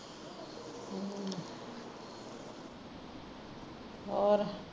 ਹੋਰ